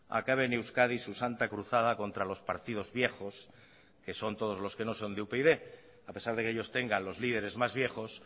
acabe en euskadi su santa cruzada contra los partidos viejos que son todos los que no son de upyd a pesar de que ellos tengan los lideres más viejos